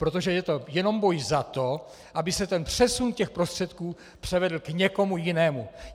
Protože je to jenom boj za to, aby se ten přesun těch prostředků převedl k někomu jinému.